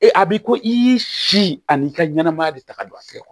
Ee a bi ko i si ani ka ɲɛnɛmaya de ta ka don a fɛ